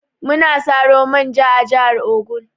Muna Saro manja a jahar ogun.